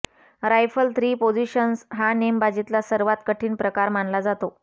rifle three position हा नेमबाजीतला सर्वात कठीण प्रकार मानला जातो